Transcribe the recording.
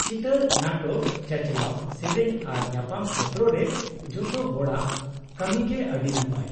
ᱪᱤᱛᱟᱹᱨ ᱱᱟᱴᱚᱠ, ᱪᱟᱪᱟᱞᱟᱣ, ᱥᱮᱹᱨᱮᱹᱧ ᱟᱨ ᱧᱟᱯᱟᱢ ᱠᱷᱮᱛᱚᱨ ᱨᱮ ᱡᱚᱛᱚ ᱦᱚᱲᱟᱜ ᱠᱟᱹᱢᱤ ᱜᱮ ᱟᱹᱰᱤ ᱱᱟᱯᱟᱭ ᱾